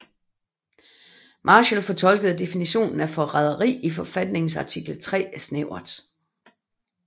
Marshall fortolkede definitionen af forræderi i forfatningens artikel III snævert